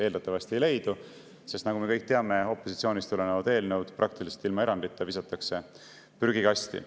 Eeldatavasti ei leidu, sest nagu me kõik teame, visatakse opositsioonist tulevad eelnõud praktiliselt ilma eranditeta prügikasti.